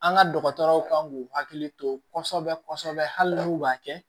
An ka dɔgɔtɔrɔw kan k'u hakili to kɔsɔbɛ kɔsɔbɛ hali n'u b'a kɛ